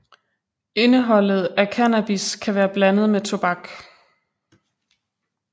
Indeholdet af cannabis kan være blandet med tobak